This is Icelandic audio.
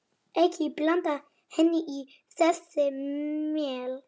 Ekki blanda henni í þessi mál.